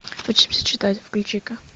учимся читать включи ка